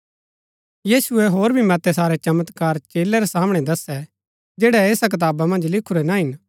यीशुऐ होर भी मतै सारै चमत्कार चेलै रै सामणै दसै जैड़ै ऐस कताबा मन्ज लिखुरै ना हिन